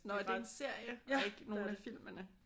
Nå er det en serie? Og ikke nogen af filmene?